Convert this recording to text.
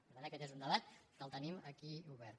per tant aquest és un debat que el tenim aquí obert